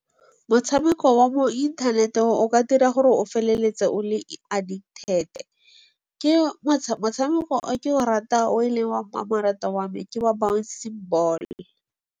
Motshameko wa mo inthaneteng o ka dira gore o feleletse o le addicted-e. Motshameko o ke o rata o e leng wa mmamoratwa wa me, ke wa Bouncy Ball.